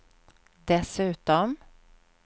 dessutom